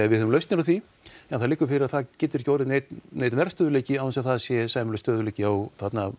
við höfum lausnina á því en það liggur fyrir að það geti ekki orðið neinn neinn verðstöðugleiki án þess að það sé sæmilegur stöðugleiki á